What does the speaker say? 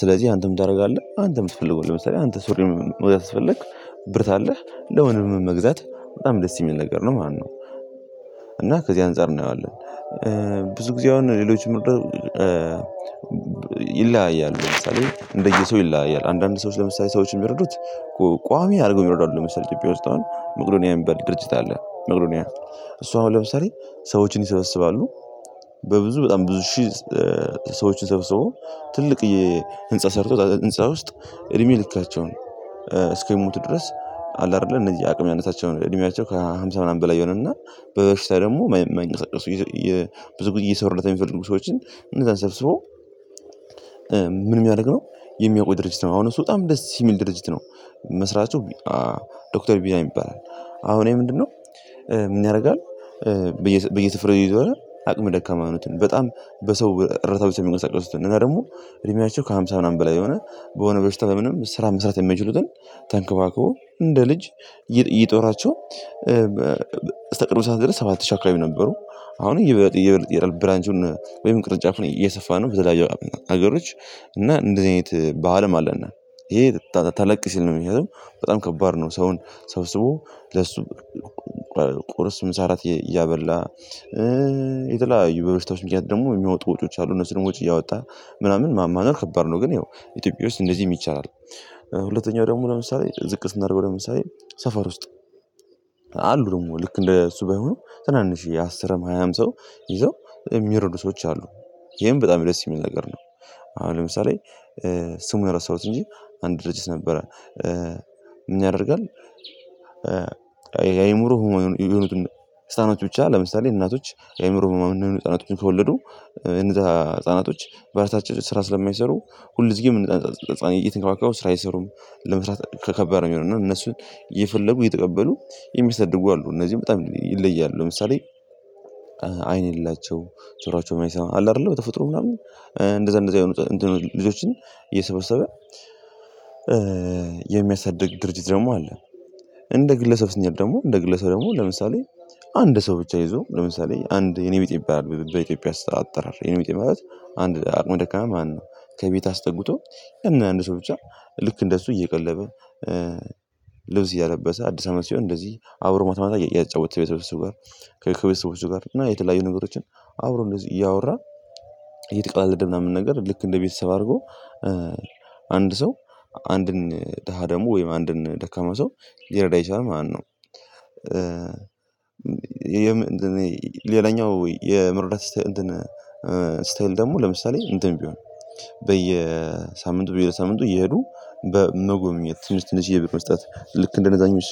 ስለዚህ አንተ ምን ታደርጋለህ? አንተ የምትፈልገዋለህ ለምሳሌ አንተ ሱሪም ወደ ስትፈልግ ብር ካለህ ለወንድም መግዛት በጣም ደስ የሚል ነገር ነው ማለት ነው። እና ከዚህ አንፃር እናየዋለን። ብዙ ጊዜ አሁን ሌሎችም ይለያያል ለምሳሌ እንደየሰው ይለያያል። አንዳንድ ሰዎች ለምሳሌ ሰዎችን የሚረዱት ቋሚ አድርገው የሚረዱ አሉ ለምሳሌ ኢትዮጵያ ውስጥ አሁን መቄዶንያ የሚባል ድርጅት አለ። መቄዶንያ እሱ አሁን ለምሳሌ ሰዎችን ይሰበስባሉ በብዙ በጣም ብዙ ሺህ ሰዎችን ሰብስቦ ትልቅ የህንፃ ሰርቶ ህንፃ ውስጥ እድሜ ልክቸውን እስከሚሞቱ ድረስ አለ። አይደለ እነዚህ አቅም ያነሳቸውን እድሜያቸው ከሃምሳ ምናምን በላይ የሆነና በበሽታ ደግሞ የማይንቀሳቀሱ የብዙ ጊዜ የሰው እርዳታ የሚፈልጉ ሰዎችን እነዛን ሰብሰቦ ምን የሚያደርግ ነው? የሚያቆይ ድርጅት ነው አሁን እሱ በጣም ደስ የሚል ድርጅት ነው። መስራቱ ዶክተር ቢኒያም ይባላል። አሁን ይኼ ምንድነው? ምን ያደርጋል? በየ በየስፍራው እየዞረ አቅም ደካማ የሆኑትን በጣም በሰው እርዳታ ብቻ የሚንቀሳቀሱትን እና ደግሞ እድሜያቸው ከሃምሳ ምናምን በላይ የሆነ በሆነ በሽታ በምንም ስራ መስራት የማይችሉትን ተንከባክቦ እንደ ልጅ እየ እየጦራቸው በ ሰዓት ድረስ ሰባት ሺህ አካባቢ ነበሩ። አሁን እየበለጠ እየበለጠ ይሄዳል ብራንቹን ወይም ቅርጫፍን እየሰፋ ነው በተለያዩ ሀገሮች እና እንደዚህ አይነት ባህልም አለነ። ይሄ ተተለቅ ሲል ነው ምክንያቱም በጣም ከባድ ነው። ሰውን ሰብስቦ ለሱ ቁርስ ምሳ ራት እያበላ የተለያዩ በበሽታዎች ምክንያት ደግሞ የሚወጡ ልጆች አሉ እነሱ ደግሞ ወጭ እያወጣ ምናምን ማማረር ከባድ ነው ግን ያው ኢትዮጵያ ውስጥ እንደዚህ የሚቻል ይቻላል። ሁለተኛው ደግሞ ለምሳሌ ዝቅ ስናደርገው ለምሳሌ ሰፈር ውስጥ አሉ ደግሞ ልክ እንደ እሱ ባይሆኑ ትናንሽ የአስርም ሃያም ሰው ይዘው በጣም የሚረዱ ሰዎች አሉ። ይሄም በጣም ደስ የሚል ነገር ነው። አሁን ለምሳሌ ስሙን ረሳሁት እንጂ አንድ ድርጅት ነበረ ምን ያደርጋል? የአእምሮህ ህሙማን የሆኑትን ህፃኖች ብቻ ለምሳሌ እናቶች የአእምሮ ህሙማን የሆኑ ህፃናቶችን ከወለዱ እነዛ ህፃናቶች በእራሳቸው ስራ ስለማይሰሩ ሁል ጊዜ እነዛን ህፃን ህፃን እየተንከባከቡ ስራ አይሰሩም። ለመስራት ከከባድ ነው የሚሆነው እና እነሱን እየፈለጉ እየተቀበሉ የሚሳድጉ አሉ። እነዚህም በጣም ይለያሉ ለምሳሌ አይን የሌላቸው ጆሯቸው የማይሰማ አለ አይደለ በተፈጥሮ ምናምን እንደዛ እንደዛ የሆኑ እንተኖ ልጆችን እየሰበሰበ የሚያሳድግ ድርጅት ደግሞ አለ። እንደ ግለሰብ ስንጀምር ደግሞ እንደ ግለሰብ ደግሞ ለምሳሌ አንድ ሰው ብቻ ይዞ ለምሳሌ አንድ የኔ ቢጤ ይባላል በኢትዮጵያ ስ አጠራር የኔ ቢጤ ማለት አንድ አቅመ ደካማ ማለትነው። ከቤት አስጠግቶ ያን አንድ ሰው ብቻ ልክ እንደሱ እየቀለበ ልብስ እያለበሰ አዲስ አመት ሲሆን እንደዚህ አብ ይ ማታ ማታ እያጫወተ ከቤተሰቦቹ ጋር ከ ከቤተሰቦቹ ጋር እና የተለያዩ ነገሮችን አብሮ እንደዚህ እያወራ እየተቀለለደ ምናምን ነገር ልክ እንደ ቤተሰብ አድርጎ አንድ ሰው አንድን ደሃ ደግሞ ወይም አንድን ደካማ ሰው ሊረዳ ይችላል ማለት ነው። የምንድነው ሌላኛው የመርዳት ስታይ ስታይል ደግሞ ለምሳሌ እንትን ቢሆን በየሳምንቱ በየሳምንቱ እየሄዱ በመጎብኘት ትንሽ ትንሽ የ ብር መስጠት ልክ እንደነዛኞች